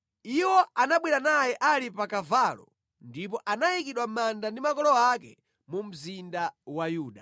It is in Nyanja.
Iwo anabwera naye ali pa kavalo ndipo anayikidwa mʼmanda ndi makolo ake mu mzinda wa Yuda.